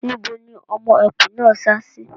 Níbo ni ọmọ ẹkùn náà sá sí?